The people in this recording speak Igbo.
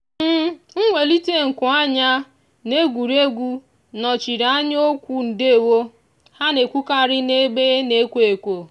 mwelite nku anya n'egwuregwu nọchiri anya okwu ndewo ha na-ekwukarị n'ebe na-ekwo ekwo.